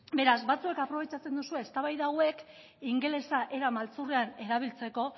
beraz batzuek aprobetxatzen duzue eztabaida hauek ingelesa era maltzurrean erabiltzeko